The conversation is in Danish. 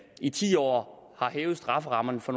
i ti år har hævet strafferammerne for